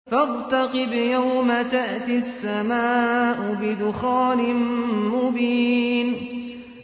فَارْتَقِبْ يَوْمَ تَأْتِي السَّمَاءُ بِدُخَانٍ مُّبِينٍ